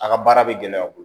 A ka baara bɛ gɛlɛya u bolo